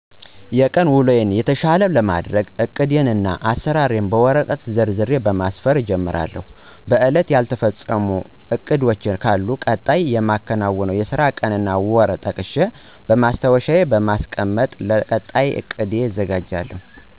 የቀን ውሎየን የተሻለ ለማድረግ እቅዴን እና አሰራሬን በወረቀት ዘርዝሬ በማስፈር እጀምራለሁ። በእለቱ ያልተፈፀሙ እቅዶች ካሉ ቀጣይ የማከናዉነውን የስራ ቀን እና ወር ጠቅሸ በማስታዎሻየ በማስቀመጥ ለቀጣይ እቅድ እዘጋጃለሁ።